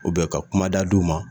ka kumada di u ma